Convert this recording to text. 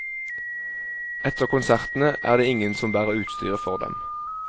Etter konsertene er det ingen som bærer utstyret for dem.